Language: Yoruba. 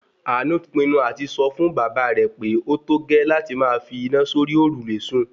Àánú ti pinu àti sọ fún bàbá rẹ̀ pé ótógẹ́ láti máa fi iná sórí òrùlé sùn